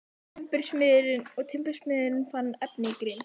Og timbursmiðurinn fann efni í grind.